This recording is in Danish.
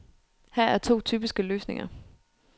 Her er to typiske løsninger.